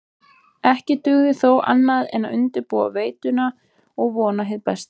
Ekki dugði þó annað en undirbúa veituna og vona hið besta.